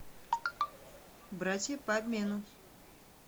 братья по обмену